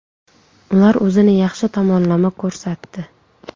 Ular o‘zini yaxshi tomonlama ko‘rsatdi.